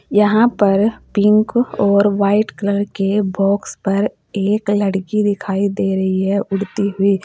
यहां पर पिंक और व्हाइट कलर के बॉक्स पर एक लड़की दिखाई दे रही है उड़ती हुई।